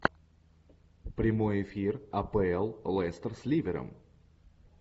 прямой эфир апл лестер с ливером